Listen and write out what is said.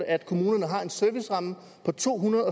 at kommunerne har en serviceramme på to hundrede